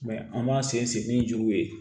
an b'an sen ni juruw ye